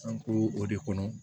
An ko o de kɔnɔ